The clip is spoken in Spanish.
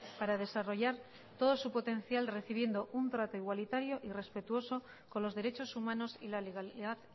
para desarrollar todo su potencial recibiendo un trato igualitario y respetuoso con los derechos humanos y la legalidad